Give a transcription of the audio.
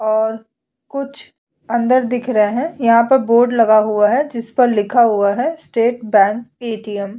और कुछ अंदर दिख रहै है यहाँ पर बोर्ड लगा हुआ है जिस पर लिखा हुआ है state bank __ATM --